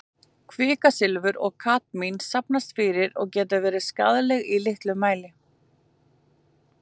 Kvikasilfur og kadmín safnast fyrir og geta verið skaðleg í litlum mæli.